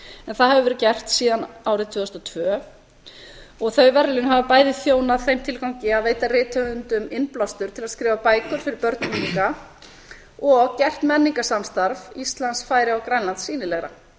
en það hefur verið gert síðan árið tvö þúsund og tvö og þau verðlaun hafa bæði þjónað þeim tilgangi að veita rithöfundum innblástur til að skrifa bækur fyrir börn og unglinga og gert menningarsamstarf íslands færeyja og grænlands sýnilegra